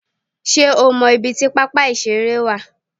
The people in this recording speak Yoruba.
Sé o mo ibi tí pápá ìṣeré wà